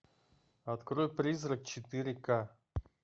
открой призрак четыре ка